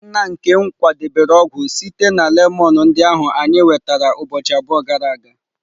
Nna nkem kwadebere ọgwụ sitere na lemon ndị ahụ anyị nwetara ụbọchị abụọ gara aga.